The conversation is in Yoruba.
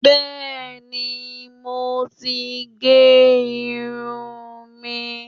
Bẹ́ẹ̀ni, mo ti gé irun mi